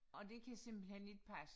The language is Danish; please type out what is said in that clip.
Og det kan simpelthen ikke passe